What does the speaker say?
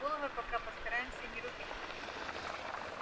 головы пока постараемся не рубить